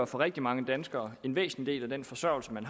for rigtig mange danskere en væsentlig del af den forsørgelse man